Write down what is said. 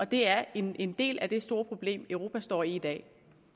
det er den ene del af det store problem europa står i i dag